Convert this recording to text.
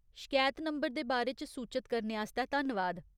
शकैत नंबर दे बारे च सूचत करने आस्तै धन्नवाद।